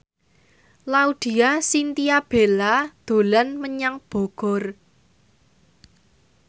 Laudya Chintya Bella dolan menyang Bogor